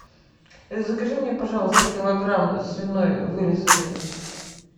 закажи мне пожалуйста килограмм свиной вырезки